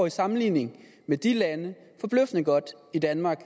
i sammenligning med de lande forbløffende godt i danmark